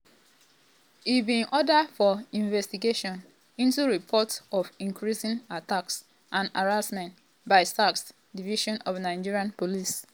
e bin order for investigation into reports of "increasing attacks and harassment" by sars division of nigerian police.